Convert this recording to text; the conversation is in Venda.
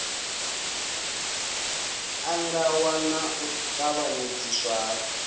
ṱangaṋwa na u tavhanyedziswa ha